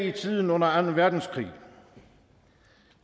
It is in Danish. i tiden under anden verdenskrig